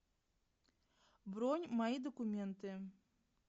бронь мои документы